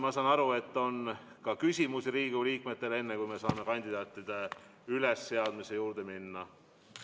Ma saan aru, et Riigikogu liikmetel on ka küsimusi, enne kui saame kandidaatide ülesseadmise juurde minna.